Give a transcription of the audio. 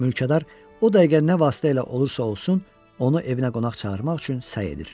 Mülkədar o dəqiqə nə vasitə ilə olursa olsun, onu evinə qonaq çağırmaq üçün səy edir.